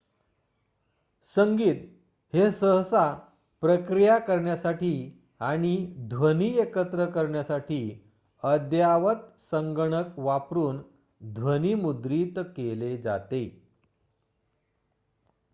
संगीत हे सहसा प्रक्रिया करण्यासाठी आणि ध्वनी एकत्र मिश्रण करण्यासाठी अद्ययावत संगणक वापरून ध्वनीमुद्रित केले जाते